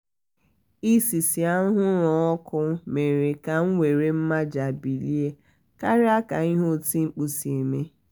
isi ísì anwụrụ ọkụ mere ka m were mmaja bilie karịa ka ihe oti mkpu si eme